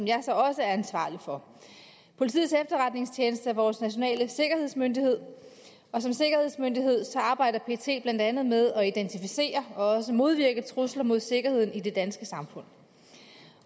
også er ansvarlig for politiets efterretningstjeneste er vores nationale sikkerhedsmyndighed og som sikkerhedsmyndighed arbejder pet blandt andet med at identificere og modvirke trusler mod sikkerheden i det danske samfund